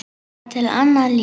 Það var til annað líf.